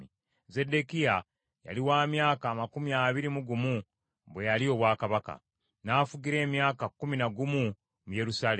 Zeddekiya yali wa myaka amakumi abiri mu gumu bwe yalya obwakabaka, n’afugira emyaka kkumi na gumu mu Yerusaalemi.